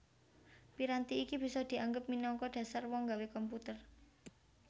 Piranti iki bisa dianggep minangka dhasar wong nggawe komputer